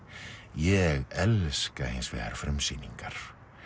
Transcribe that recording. ég elska hins vegar frumsýningar